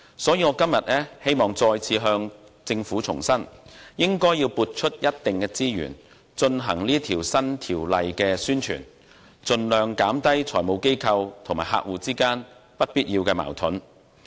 所以，我今天再次向政府重申，應撥出一定資源為經修訂的《稅務條例》進行宣傳，盡量減低財務機構與客戶之間不必要的矛盾。